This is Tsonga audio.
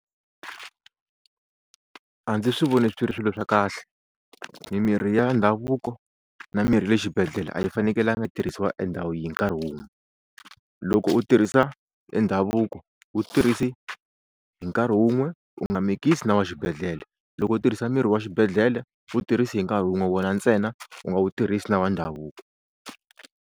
A ndzi swi voni swi ri swilo swa kahle mimirhi ya ndhavuko na mirhi ya le xibedhlele a yi fanekelanga tirhisiwa endhawu hi nkarhi wun'we. Loko u tirhisa e ndhavuko wu tirhisi hi nkarhi wun'we u nga mikisi na wa xibedhlele, loko u tirhisa mirhi wa xibedhlele wu tirhisi hi nkarhi wun'we wona ntsena u nga wu tirhisi na wa ndhavuko.